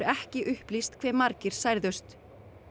ekki upplýst hve margir særðust